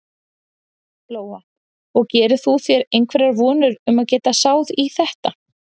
Lóa: Og gerir þú þér einhverjar vonir um að geta sáð í þetta?